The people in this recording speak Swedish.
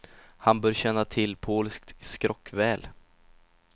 Han bör känna till polskt skrock väl.